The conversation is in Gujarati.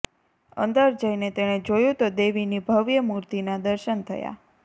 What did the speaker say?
અંદર જઈને તેણે જોયું તો દેવીની ભવ્ય મૂર્તિના દર્શન થયાં